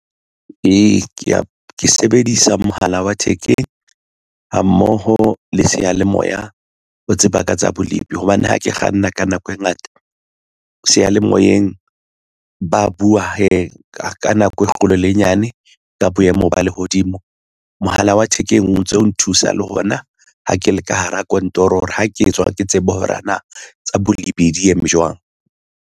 Ee, ke ya ke sebedisa mohala wa thekeng ha mmoho le seyalemoya ho tseba ka tsa bolepi hobane ha ke kganna ka nako e ngata seyalemoyeng. Ba buwa hee ka nako e kgolo le e nyane ka boemo ba lehodimo mohala wa thekeng o ntso nthusa le hona ha ke le ka hara kantoro hore ha ke tswa ke tsebe hore na tsa bolepi di eme jwang.